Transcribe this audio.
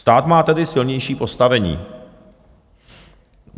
Stát má tedy silnější postavení.